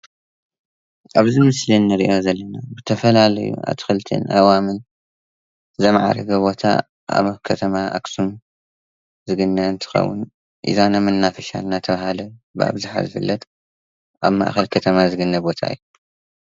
ኣብዚ ምስሊ እንርእዮ ዘለና ብተፋላለዩ ኣትክልትን ኣእዋምን ዘማዕረገ ቦታ ኣብ ከተማ ኣኸሱም ዝግነ እንትኸዉን ኢዛና መናፈሻ እናተበሃለ ዝፍለጥ ኣብ ማእኸል ከተማ ዝግነ ቦታ እዩ፡፡